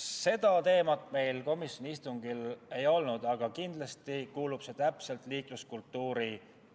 Seda teemat meil komisjoni istungil ei olnud, aga kindlasti kuulub see täpselt liikluskultuuri